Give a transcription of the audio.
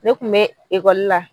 Ne kun be ekɔli la